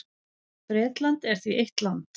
Bretland er því eitt land.